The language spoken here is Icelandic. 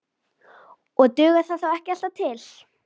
Og dugar það þó ekki alltaf til.